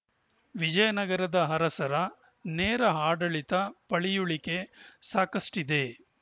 ವಿಜಯನಗರದ ಅರಸರ ನೇರ ಆಡಳಿತದ ಪಳಿಯುಳಿಕೆ ಸಾಕಷ್ಟಿದೆ